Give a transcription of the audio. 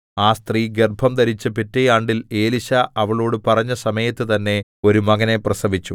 ആ സ്ത്രീ ഗർഭംധരിച്ച് പിറ്റെ ആണ്ടിൽ എലീശാ അവളോട് പറഞ്ഞസമയത്തു തന്നേ ഒരു മകനെ പ്രസവിച്ചു